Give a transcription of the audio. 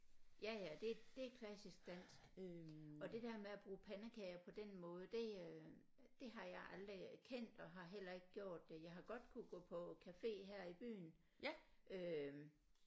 Ja ja det det er klassisk dansk og det der med at bruge pandekager på den måde det øh det har jeg aldrig kendt og har heller ikke gjort det jeg har godt kunne gå på cafe her i byen øh